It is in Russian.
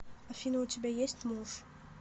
афина у тебя есть муж